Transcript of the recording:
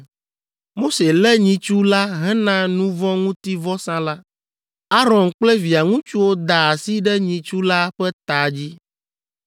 Mose lé nyitsu la hena nu vɔ̃ ŋuti vɔsa la. Aron kple via ŋutsuwo da asi ɖe nyitsu la ƒe ta dzi.